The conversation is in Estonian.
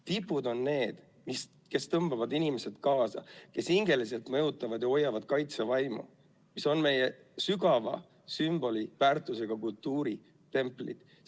Tipud on need, kes tõmbavad inimesi kaasa, kes hingeliselt mõjutavad ja hoiavad kaitsevaimu, mis on meie sügava sümboliväärtusega kultuuritemplid.